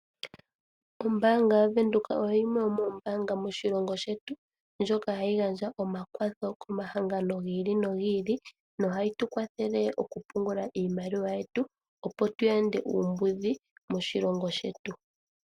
Ombaanga yaWindhoek oyo yimwe yomoombaanga moshilongo shetu, ndjoka hayi gandja omakwatho komahangano gi ili nogi ili nohayi tu kwathele okupungula iimaliwa yetu, opo tu yande uumbudhi moshilongo shetu.